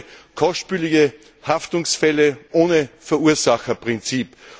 Die Folge sind kostspielige Haftungsfälle ohne Verursacherprinzip.